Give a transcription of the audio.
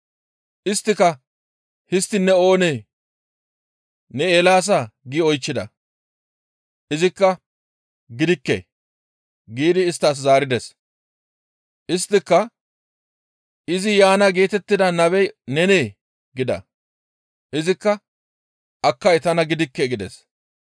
Isttika, «Histtiin ne oonee? Ne Eelaasaa?» gi oychchida; izikka, «Gidikke» giidi isttas zaarides. Isttika, «Izi yaana geetettida nabey nenee?» gida. Izikka, «Akkay tana gidikke» gides.